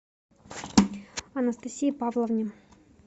анастасии павловне